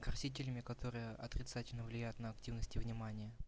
красителями которые отрицательно влияют на активность и внимание